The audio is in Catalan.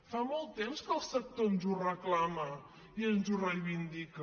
fa molt temps que el sector ens ho reclama i ens ho reivindica